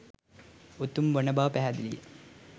උතුම් වන බව පැහැදිලිය.